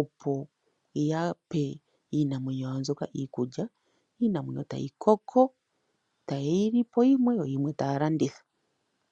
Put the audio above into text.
opo yape iinamwenyo yawo mbyoka iikulya. Iinamwenyo tayi koko, tayeyi li po yimwe yo yimwe taya landitha.